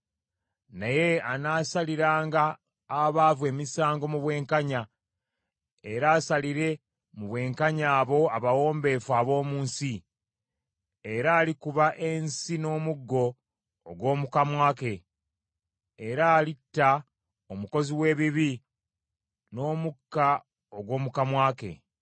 naye anaasaliranga abaavu emisango mu bwenkanya, era asalire mu bwenkanya abo abawombeefu ab’omu nsi; era alikuba ensi n’omuggo ogw’omu kamwa ke, era alitta omukozi w’ebibi n’omukka ogw’omu kamwa ke.